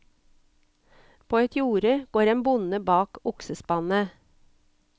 På et jorde går en bonde bak oksespannet.